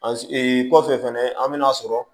An kɔfɛ fɛnɛ an bɛ n'a sɔrɔ